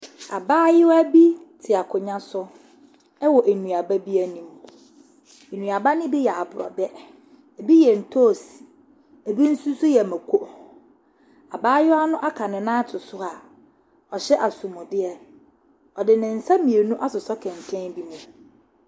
Abayewa bi te akonnwa so wɔ nnuaba bi anim. Nnuaba no bi yɛ aborɔbɛ, ebi yɛ ntoosi, ebi nso so yɛ mmako. Abayewa no aka ne nan ato so a ɔhyɛ asomadeɛ. Ɔde ne nsa mmienu asosɔ kɛntɛn bi mu.